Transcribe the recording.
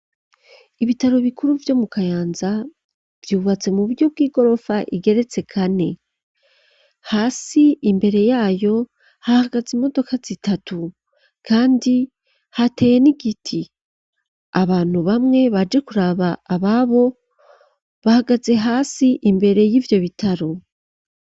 Ibitaro bikuru vyo mu Kayanza vyubatse mu buryo bw'igorofa igeretse kane hasi imbere yayo hahagaze imodoka zitatu kandi hateye n'igiti abantu bamwe baje kuraba ababo bahagaze hasi imbere y'ivyo bitaro.